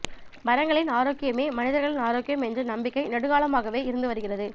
மரங்களின் ஆரோக்கியமே மனிதர்களின் ஆரோக்கியம் என்ற நம்பிக்கை நெடும்காலமாகவே இருந்து வருகிறது